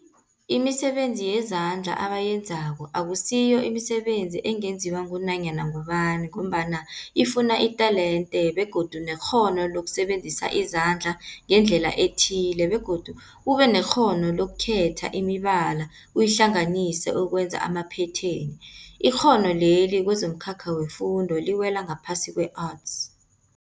Imisebenzi yezandla abayenzako akusiyo imisebenzi ungenziwa ngunyana ngubani mgombana ifuna itelente begodu nekghono lokusebenzisa izandla ngendlela ethile, begodu ubenekghono lokukhetha imibala uyihlanganise ukwenza amaphetheni. Ikghono leli kwezomkhakha wefundo liwela ngaphasi kwe-Arts.